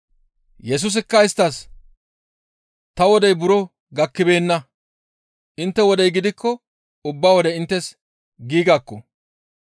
Yesusikka isttas, «Ta wodey buro gakkibeenna; intte wodey gidikko ubba wode inttes giigakko.